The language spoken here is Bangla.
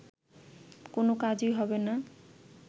কোন কাজই হবে না